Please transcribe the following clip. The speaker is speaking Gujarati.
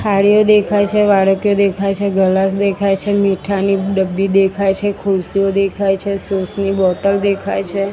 થાળીઓ દેખાય છે વાડકીઓ દેખાય છે ગલાસ દેખાય છે મીઠાની ડબ્બી દેખાય છે ખુરશીઓ દેખાય છે સોસ ની બોટલ દેખાય છે.